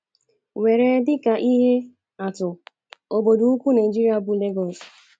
Were dị ka ihe atụ, obodo ukwu Naịjirịa bụ́ Lagos.